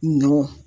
Nɔn